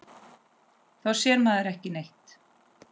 Þá sér maður ekki neitt.